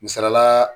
Misalila